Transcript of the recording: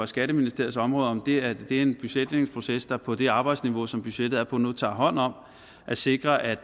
skatteministeriets område om det er en budgetlægningsproces der på det arbejdsniveau som budgettet er på nu tager hånd om at sikre at